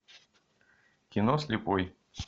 кино слепой